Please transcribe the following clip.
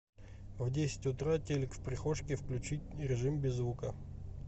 в десять утра телек в прихожке включить режим без звука